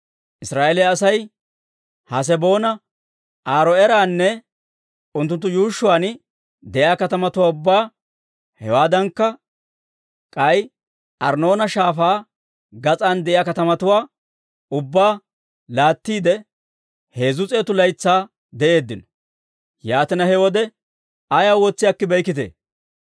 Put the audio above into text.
«Israa'eeliyaa Asay Haaseboona, Aaro'eeranne unttunttu yuushshuwaan de'iyaa katamatuwaa ubbaa, hewaaddankka, k'ay Arnnoona Shaafaa gas'aan de'iyaa katamatuwaa ubbaa laattiide, heezzu s'eetu laytsaa de'eeddino. Yaatina, he wode ayaw wotsi akkibeykkitee?